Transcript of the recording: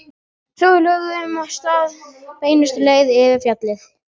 Svo við lögðum af stað beinustu leið yfir fjallið.